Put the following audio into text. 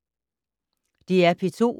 DR P2